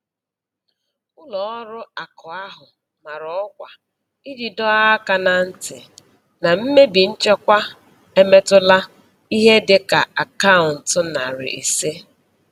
Ụlọ ọrụ akụ ahụ mara ọkwa iji dọọ aka na ntị na mmebi nchekwa emetụtala ihe dị ka akaụntụ nari ise.